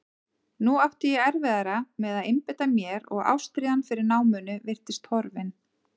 Nú átti ég erfiðara með að einbeita mér og ástríðan fyrir náminu virtist horfin.